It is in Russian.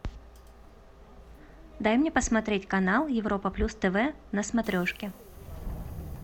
дай мне посмотреть канал европа плюс тв на смотрешке